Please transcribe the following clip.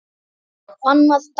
Annað dæmi.